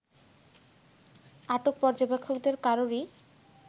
আটক পর্যবেক্ষকদের কারোরই